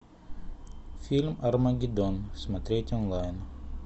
фильм армагеддон смотреть онлайн